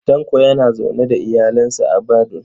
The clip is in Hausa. Tanko yana zaune da iyalinsa a Badun